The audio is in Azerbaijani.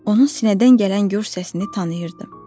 Onun sinədən gələn gur səsini tanıyırdım.